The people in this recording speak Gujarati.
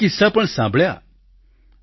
કેટલાય કિસ્સા પણ સાંભળ્યા